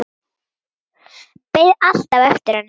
Beið alltaf eftir henni.